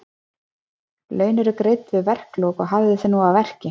Laun eru greidd við verkalok og hafðu þig nú að verki.